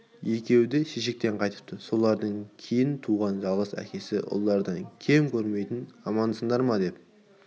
екеуі де шешектен қайтыпты солардан кейін туған жалғыз әкесі ұлдан кем көрмейтін амансындар ма деп